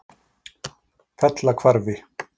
Fellahvarfi